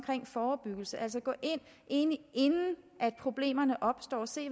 forebyggelse altså at gå ind i det inden problemerne opstår og se